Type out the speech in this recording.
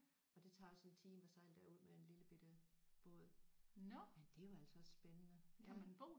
Og det tager også en time at sejle derud med en lillebitte båd men det var altså også spændende ja